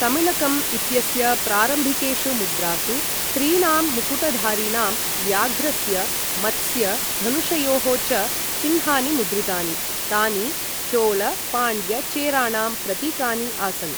तमिळकम् इत्यस्य प्रारम्भिकेषु मुद्रासु त्रीणां मुकुटधारिणां, व्याघ्रस्य, मत्स्य धनुषयोः च चिह्नानि मुद्रितानि, यानि चोल पाण्ड्य चेराणां प्रतीकानि आसन्।